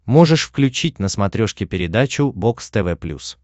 можешь включить на смотрешке передачу бокс тв плюс